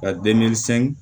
Ka